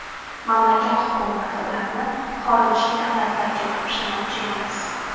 Mamlakat hukumati ularni xorijiy davlatlarga topshirmoqchi emas.